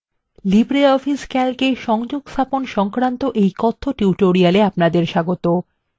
libreoffice calc এ সংযোগস্থাপন সংক্রান্ত এই কথ্য tutorial এ আপনাদের স্বাগত